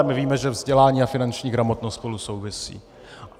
A my víme, že vzdělání a finanční gramotnost spolu souvisí.